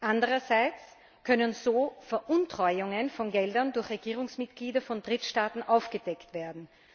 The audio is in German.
Andererseits können so Veruntreuungen von Geldern durch Regierungsmitglieder von Drittstaaten aufgedeckt werden.